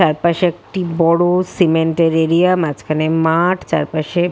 চারপাশে একটি বড় সিমেন্ট এর এরিয়া মাঝখানে মাঠ চার পাশে--